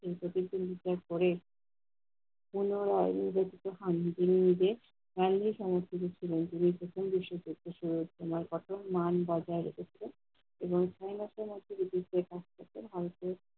তাদেরকে উদ্ধার করে। পুনরায় নিজে থেকে সামলে করে নিবে মান বজায় রেখেছে এবং কাছ থেকে ভারতে